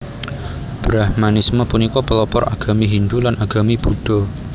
Brahmanisme punika pelopor agami Hindu lan agami Buddha